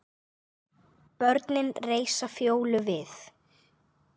Börnin reisa Fjólu við.